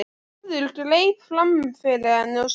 Þórður greip fram fyrir henni og sagði